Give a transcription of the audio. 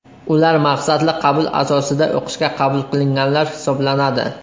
Ular maqsadli qabul asosida o‘qishga qabul qilinganlar hisoblanadi.